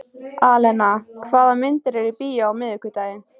Alena, hvaða myndir eru í bíó á miðvikudaginn?